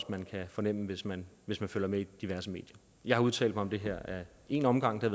at man kan fornemme hvis man hvis man følger med i diverse medier jeg har udtalt mig om det her ad en omgang det